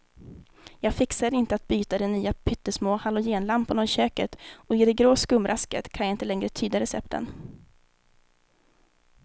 Jag fixar inte att byta de nya pyttesmå halogenlamporna i köket och i det grå skumrasket kan jag inte längre tyda recepten.